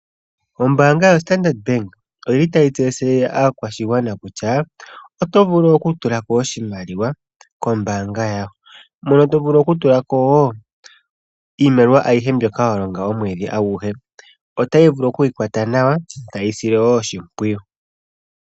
Ombaanga yoStandard bank oyili tayi tseyithile aakwashigwana kutya otovulu okutula ko oshimaliwa kombaanga yawo. Mono tovulu okutula ko wo iimaliwa ayihe mbyoka walonga omwedhi aguhe, otayi vulu okuyikwatwa nawa taye yi sile wo oshimpwiyu.